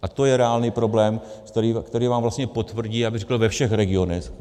A to je reálný problém, který vám vlastně potvrdí, já bych řekl ve všech regionech.